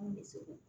Mun bɛ se ko